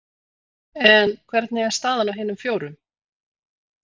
En hvernig er staðan á hinum fjórum?